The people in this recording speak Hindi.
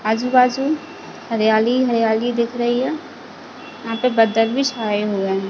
आजु-बाजु हरियाली हरियाली दिख रही हैं यहाँ पे बदल भी छाए हुए है।